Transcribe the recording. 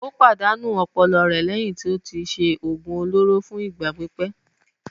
Ó pàdánù ọpọlọ rẹ̀ lẹ́yìn tí ó ti ṣe òògùn olóró fún ìgbà pípẹ́.